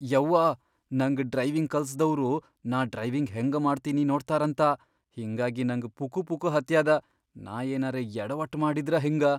ಯವ್ವಾ ನಂಗ್ ಡ್ರೈವಿಂಗ್ ಕಲಸ್ದವ್ರು ನಾ ಡ್ರೈವಿಂಗ್ ಹೆಂಗ ಮಾಡ್ತೀನಿ ನೋಡ್ತಾರಂತ ಹಿಂಗಾಗಿ ನಂಗ್ ಪುಕುಪುಕು ಹತ್ಯಾದ. ನಾ ಏನರೇ ಯಡವಟ್ ಮಾಡಿದ್ರ ಹೆಂಗ.